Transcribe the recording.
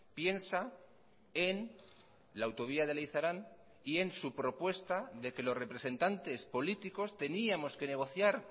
piensa en la autovía de leizarán y en su propuesta de que los representantes políticos teníamos que negociar